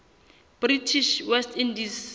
british west indies